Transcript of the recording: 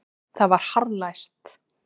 Það var harðlæst.